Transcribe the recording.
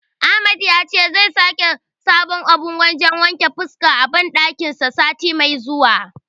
Ahmad yace zai saka sabon abun wajen wanke fuska a banɗakin sa sati mai zuwa.